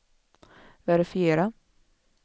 verifiera